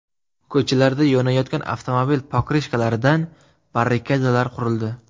Ko‘chalarda yonayotgan avtomobil pokrishkalaridan barrikadalar qurildi.